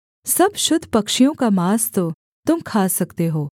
सब शुद्ध पक्षियों का माँस तो तुम खा सकते हो